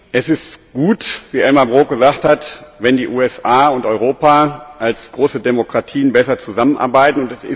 Es ist gut, wie Elmar Brok gesagt hat, wenn die USA und Europa als große Demokratien besser zusammenarbeiten.